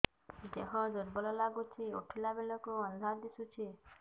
ଦେହ ଦୁର୍ବଳ ଲାଗୁଛି ଉଠିଲା ବେଳକୁ ଅନ୍ଧାର ଦିଶୁଚି